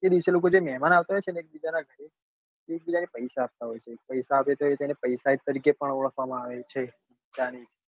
એ દિવસે જે મહેમાન આવતા હોય છે ને એક બીજાના ઘર તે એકબીજાને પૈસા પણ આપતા હોય છે પૈસા આપે છે એટલા માટે તેને પૈસા ઈદ તરીકે પણ ઓળખવામાં આવે છે